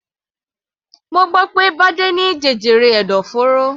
Mo gbọ́ pé Bade ní jẹjẹrẹ ẹ̀dọ̀fóró.